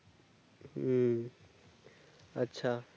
হুম আচ্ছা